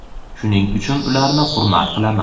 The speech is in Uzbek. shuning uchun ularni hurmat qilaman.